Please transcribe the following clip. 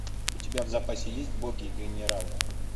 у тебя в запасе есть боги и генералы